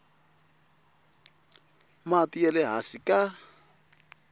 mati ya le hansi ka